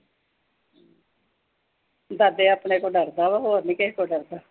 ਦਾਦੇ ਆਪਣੇ ਤੋਂ ਡਰਦਾ ਵਾ, ਹੋਰ ਨੀਂ ਕਿਸੇ ਤੋਂ ਡਰਦਾ।